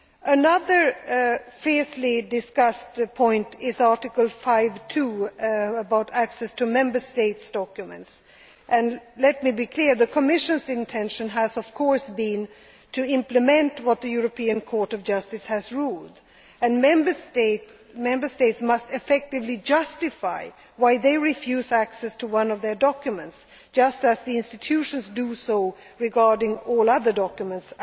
text. Another fiercely discussed point is Article 5 concerning access to Member States' documents. Let me be clear that the Commission's intention has been to implement what the European Court of Justice has ruled, and Member States must effectively justify why they refuse access to one of their documents, just as the institutions do regarding all other documents.